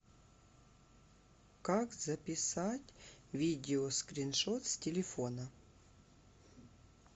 как записать видео скриншот с телефона